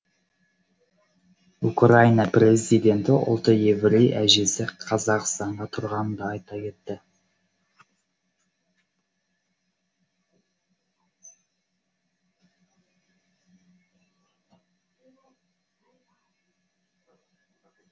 украина президенті ұлты еврей әжесі қазақстанда тұрғанын да айта кетті